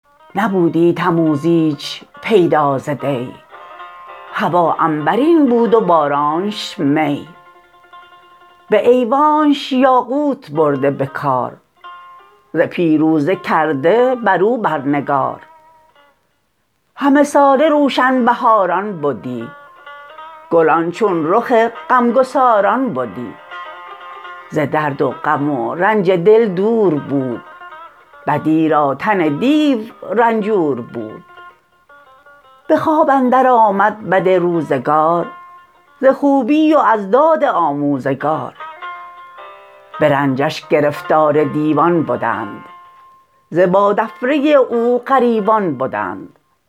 بیامد سوی پارس کاووس کی جهانی به شادی نوافگند پی بیاراست تخت و بگسترد داد به شادی و خوردن دل اندر نهاد فرستاد هر سو یکی پهلوان جهاندار و بیدار و روشن روان به مرو و نشاپور و بلخ و هری فرستاد بر هر سویی لشکری جهانی پر از داد شد یکسره همی روی برتافت گرگ از بره ز بس گنج و زیبایی و فرهی پری و دد و دام گشتش رهی مهان پیش کاووس کهتر شدند همه تاجدارنش لشکر شدند جهان پهلوانی به رستم سپرد همه روزگار بهی زو شمرد یکی خانه کرد اندر البرز کوه که دیو اندران رنج ها شد ستوه بفرمود کز سنگ خارا کنند دو خانه برو هر یکی ده کمند بیاراست آخر به سنگ اندرون ز پولاد میخ و ز خارا ستون ببستند اسپان جنگی بدوی هم اشتر عماری کش و راه جوی دو خانه دگر ز آبگینه بساخت زبرجد به هر جایش اندر نشاخت چنان ساخت جای خرام و خورش که تن یابد از خوردنی پرورش دو خانه ز بهر سلیح نبرد بفرمو کز نقره خام کرد یکی کاخ زرین ز بهر نشست برآورد و بالاش داده دو شست نبودی تموز ایچ پیدا ز دی هوا عنبرین بود و بارانش می به ایوانش یاقوت برده بکار ز پیروزه کرده برو بر نگار همه ساله روشن بهاران بدی گلان چون رخ غمگساران بدی ز درد و غم و رنج دل دور بود بدی را تن دیو رنجور بود به خواب اندر آمد بد روزگار ز خوبی و از داد آموزگار به رنجش گرفتار دیوان بدند ز بادافره او غریوان بدند